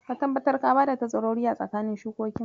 Ka tabbatar ka bada tazarori a tsakanin shukokin.